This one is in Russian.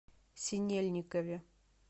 синельникове